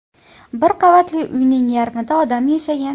Bir qavatli uyning yarmida odam yashagan.